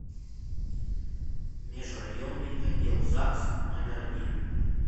межрайонный отдел загс номер один